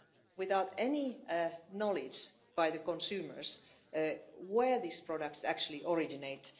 without any knowledge by the consumers of where these products actually originate.